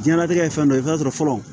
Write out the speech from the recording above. Diɲɛnatigɛ ye fɛn dɔ ye i bɛ t'a sɔrɔ fɔlɔ